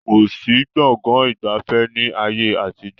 Kòsí Gbọ̀ngán ìgbafẹ́ ni ayé àtijọ́